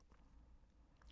DR P2